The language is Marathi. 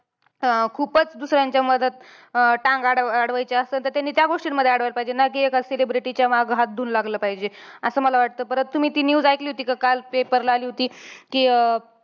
अं खुपचं दुसऱ्यांच्या मधात अं टांग आड अडवायची असलं, तर त्यांनी त्या गोष्टींमध्ये अडवायला पाहिजे. ना कि एकाच celebrity च्या मागे हात धुवून लागलं पाहिजे. असं मला वाटतं. परत तुम्ही ती news ऐकली होती का काल paper ला आली होती, कि अं